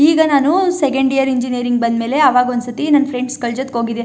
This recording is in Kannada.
ಈಗ ನಾನು ಸೆಕೆಂಡ್ ಇಯರ್ ಇಂಜಿನಿಯರಿಂಗ್ ಬಂದ್ಮೇಲೆ ಅವಾಗ ಒಂದ್ಸತಿ ನನ್ ಫ್ರೆಂಡ್ಸ್ ಗಳ ಜೊತೆ ಹೋಗಿದ್ದೆ.